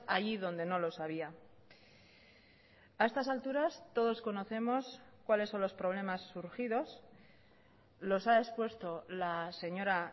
allí donde no los había a estas alturas todos conocemos cuáles son los problemas surgidos los ha expuesto la señora